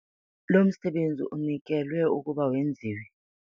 Lo msebenzi unikelwe ukuba wenziwe.